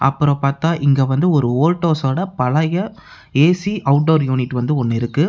அப்புறோ பாத்தா இங்க வந்து ஒரு ஓல்டோஸ்ஸோட பழைய ஏ_சி அவுட்டோர் யூனிட் வந்து ஒன்னு இருக்கு.